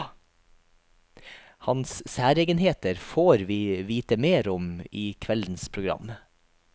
Hans særegenheter får vi vite mer om i kveldens program.